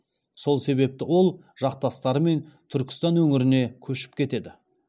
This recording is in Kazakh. сол себепті ол жақтастарымен түркістан өңіріне көшіп кетеді